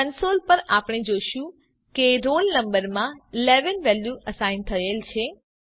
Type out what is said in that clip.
console પર આપણે જોશું કે રોલ નંબર માં 11 વેલ્યુ અસાઇન થયેલ છે